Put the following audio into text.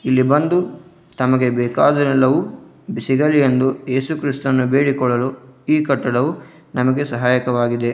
ಇಲ್ಲಿ ಬಂದು ತಮಗೆ ಬೇಕಾದುವೆಲ್ಲವೂ ಸಿಗಲಿ ಎಂದು ಏಸು ಕ್ರಿಸ್ತನ ಬೇಡಿಕೊಳ್ಳಲು ಈ ಕಟ್ಟಡವು ನಮಗೆ ಸಹಾಯಕವಾಗಿದೆ.